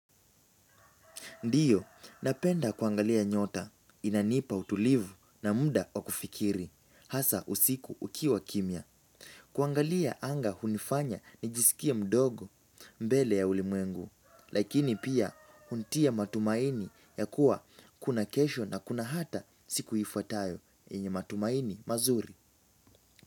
Ndiyo, napenda kuangalia nyota, inanipa utulivu na muda wa kufikiri, hasa usiku kukiwa kimya. Kuangalia anga hunifanya nijisikie mdogo mbele ya ulimwengu, lakini pia hunitia matumaini ya kuwa kuna kesho na kuna hata siku ifuatayo yenye matumaini mazuri.